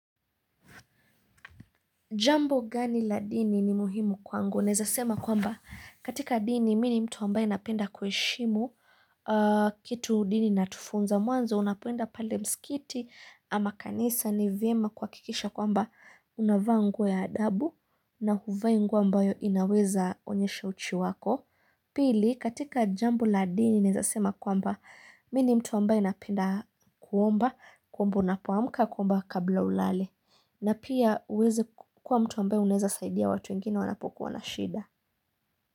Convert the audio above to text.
Jambo gani la dini ni muhimu kwangu. Naeza sema kwamba katika dini mi ni mtu ambaye napenda kuheshimu kitu dini inatufunza. Mwanzo unapoenda pale msikiti ama kanisa ni vyema kuhakikisha kwamba unavaa nguo ya adabu na huvai nguo ambayo inaweza onyesha uchi wako. Pili katika jambo la dini naeza sema kwamba mini mtu ambaye napenda kuomba kuomba unapoamka kuomba kabla ulale na pia uweze kuwa mtu ambaye unaeza saidia watu wengine wanapokuwa na shida.